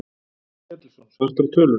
Páll Ketilsson: Svartar tölur?